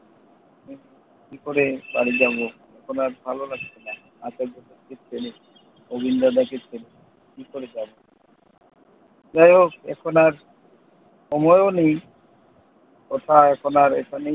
কি করে বাড়ি যাবো? এখন আর ভালো লাগছে না। অভিন দাদাকে ছেড়ে কি করে যাবো? যাইহোক, এখন আর সময়ও নেই। কথা এখন আর এখানেই